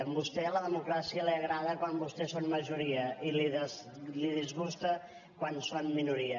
a vostè la democràcia li agrada quan vostès són majoria i la disgusta quan són minoria